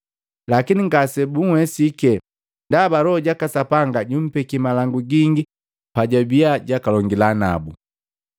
Lakini ngasebunwesike ndaba Loho jaka Sapanga jumpekia malangu gingi pajabia jwakalongila nabu.